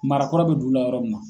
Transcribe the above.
Marakɔrɔ bɛ dugula yɔrɔw min na